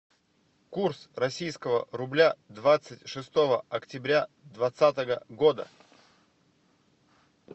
курс российского рубля двадцать шестого октября двадцатого года